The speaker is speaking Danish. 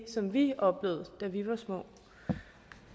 som vi oplevede da vi var små